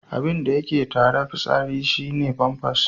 Abinda yake tare fitsarin yara shi ne famfas.